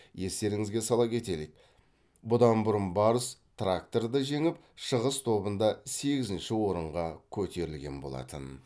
естеріңізге сала кетелік бұдан бұрын барыс тракторды жеңіп шығыс тобында сегізінші орынға көтерілген болатын